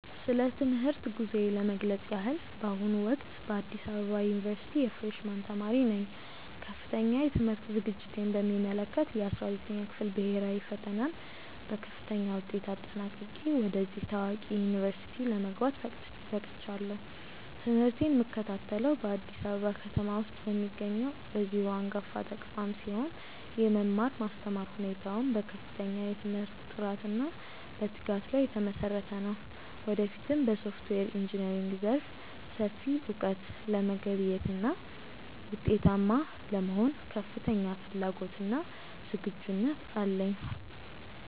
ስለ ትምህርት ጉዞዬ ለመግለጽ ያህል፣ በአሁኑ ወቅት በአዲስ አበባ ዩኒቨርሲቲ የፍሬሽ ማን ተማሪ ነኝ። ከፍተኛ የትምህርት ዝግጅቴን በሚመለከት፣ የ12ኛ ክፍል ብሄራዊ ፈተናን በከፍተኛ ውጤት አጠናቅቄ ወደዚህ ታዋቂ ዩኒቨርሲቲ ለመግባት በቅቻለሁ። ትምህርቴን የምከታተለው በአዲስ አበባ ከተማ ውስጥ በሚገኘው በዚሁ አንጋፋ ተቋም ሲሆን፣ የመማር ማስተማር ሁኔታውም በከፍተኛ የትምህርት ጥራትና በትጋት ላይ የተመሰረተ ነው። ወደፊትም በሶፍትዌር ኢንጂነሪንግ ዘርፍ ሰፊ እውቀት ለመገብየትና ውጤታማ ለመሆን ከፍተኛ ፍላጎትና ዝግጁነት አለኝ።